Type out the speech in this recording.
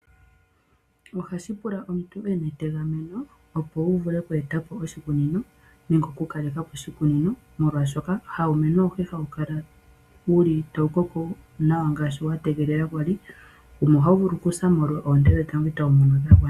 Ohashi pula omuntu wuna etegameno opo weetepo oshikunino, molwaashoka hawumeno awuhe hawu kala taukoko nawa ngaashi watengelela, ohawu vulu okusa koonte dhetango.